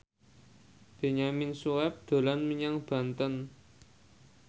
Benyamin Sueb dolan menyang Banten